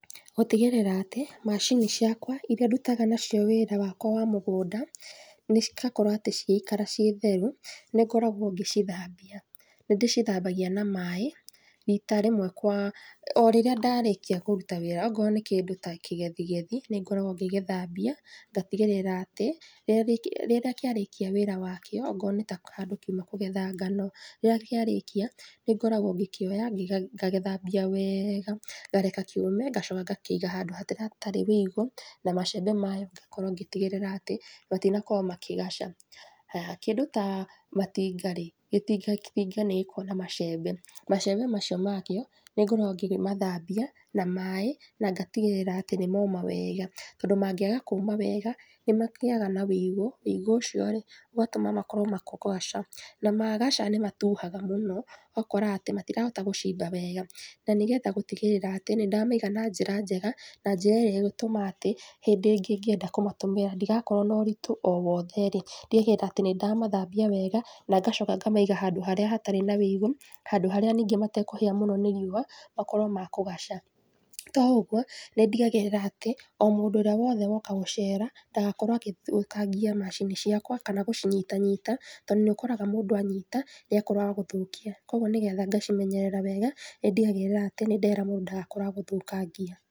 Gũtigĩrĩra atĩ macini ciakwa irĩa ndutaga nacio wĩra wakwa wa mũgũnda nĩ cigakorũo atĩ cigĩikara ciĩ theru nĩ ngoragũo ngĩcithambia. Nĩ ndĩcithambagia na maĩ rita rĩmwe kwa o rĩrĩa ndarĩkia kũruta wĩra ona okorũo nĩ kĩndũ ta kĩgethigethi nĩ ngoragũo ngĩgĩthambia ngatigĩrĩra atĩ rĩrĩa kĩarĩkia wĩra wakio, okorũo nĩ ta handũ kiuma kũgetha ngano, rĩrĩa kĩarĩkia nĩ ngoragũo ngĩkĩoya ngagĩthambia wega, ngareka kĩume ngacoka ngakĩiga wega handũ hatarĩ ũigũ na macembe mayo ngakorũo ngĩtigĩrĩra atĩ matinakorũo makĩgaca. Haya, kĩngũ ta matinga rĩ, gĩtinga nĩ gĩkoragũo na macember. Macembe macio makĩo nĩ ngoragũo ngĩmathambia na maĩ na ngatigĩrĩra atĩ nĩ moma wega, tondũ mangĩaga kũũma wega nĩ magĩaga ũigũ na ũigũ ũcio rĩ ũgatũma makorũo makĩgaca. Na magaca nĩ matuhaga mũno ũgakora atĩ matirahota gũcimba wega. Na nĩgetha gũtigĩrĩra atĩ nĩ ndamaiga wega na njĩra njega na njĩra ĩrĩa ĩgũtũma atĩ hĩndĩ ngĩenda kũmatũmĩra ndigakorũo na ũritũ o wothe rĩ, ndigagĩrĩra atĩ nĩ ndamathambia wega na ngacoka ngamaiga handũ harĩa hatarĩ na ũigũ, handũ harĩa ningĩ matekũhĩa nĩ riũa makorũo ma kũgaca. To ũguo, nĩ ndigagĩrĩra atĩ o mũndũ ũrĩa wothe woka gũcera ndagakorũo agĩthũkangia macini ciakwa kana wa gũcinyitanyita tondũ nĩ ũkoraga mũndũ anyita nĩ akoragũo wa gũthũkia. Kwoguo nĩgetha ngacimenyerera wega, nĩ ndigagĩrĩra nĩ ndera mũndũ ndagakorũo wa gũthũkangia.